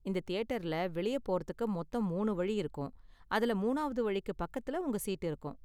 இந்த தியேட்டர்ல வெளிய போறதுக்கு மொத்தம் மூணு வழி இருக்கும், அதுல மூணாவது வழிக்கு பக்கத்துல உங்க சீட் இருக்கும்.